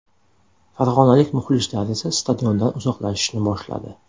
Farg‘onalik muxlislar esa stadiondan uzoqlashishni boshladi.